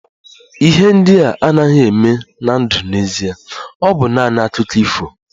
Ihe ndị a anaghị eme na ndụ n'ezie, ọ bụ naanị Akụkọ ifo